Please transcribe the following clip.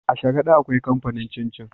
A sharada akwai kamfanin cin cin